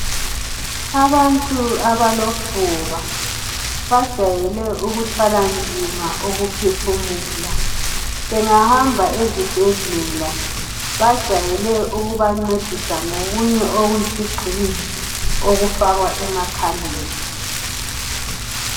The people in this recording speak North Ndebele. Abantu abalofuba bajayele ukuthwala nzima ukuphefumula bengahamba ezibhedlela bajayele ukubancedisa ngokunye okuyisigxingi okufakwa emakhaleni